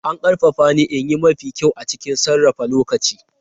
An ƙarfafa ni in yi mafi kyau a cikin sarrafa lokaci.